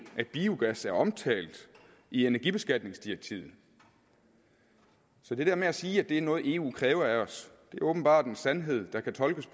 at biogas er omtalt i energibeskatningsdirektivet så det der med at sige at det er noget eu kræver af os er åbenbart en sandhed der kan tolkes